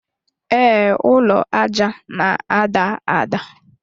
Ee, ụlọ aja na-ada ada.